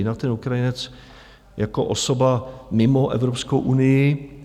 Jinak ten Ukrajinec jako osoba mimo Evropskou unii...